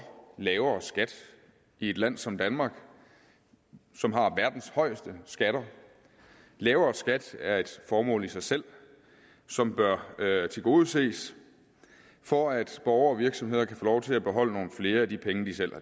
lavere skat i et land som danmark som har verdens højeste skatter lavere skat er et formål i sig selv som bør tilgodeses for at borgere og virksomheder kan få lov til at beholde nogle flere af de penge de selv